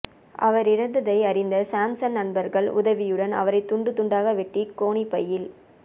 அவர் இறந்ததை அறிந்த சாம்சன் நண்பர்கள் உதவியுடன் அவரை துண்டு துண்டாக வெட்டி கோணிப்பையில்